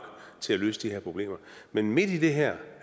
til at løse de her problemer men midt i det her